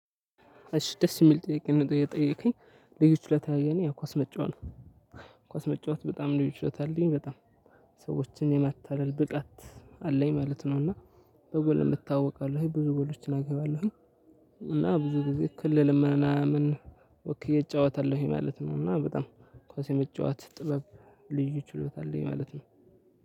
እሽ ደስ የሚል ጥያቄ ነው የጠየከኝ ችሎታ የእኔ ኳስ መጫወት። ኳስ መጫወት በጣም ችሎታ አለኝ በጣም ሰዎችን የማታለል ብቃት አለኝ ማለት ነው። እና በጎል እታወቃለሁ ብዙ ጎሎችን አገባለሁ። እና ብዙ ጊዜ ክልል ምናምን ወክዬ እጫወታለሁ ማለት ነው። እና በጣም ኳስ የመጨዋት ጥበብ ልዩ ችሎታ አለኝ ማለት ነው።